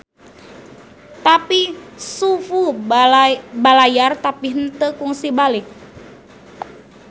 Tapi Xu Fu balayar tapi henteu kungsi balik.